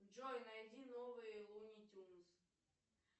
джой найди новые луни тюнз